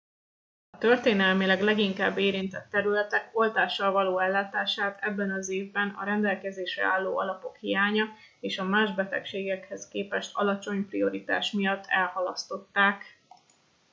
a történelmileg leginkább érintett területek oltással való ellátását ebben az évben a rendelkezésre álló alapok hiánya és a más betegségekhez képest alacsony prioritás miatt elhalasztották